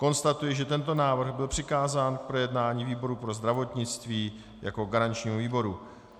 Konstatuji, že tento návrh byl přikázán k projednání výboru pro zdravotnictví jako garančnímu výboru.